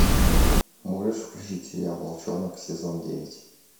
можешь включить сериал волчонок сезон девять